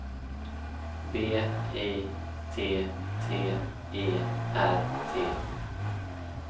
B I T T E R T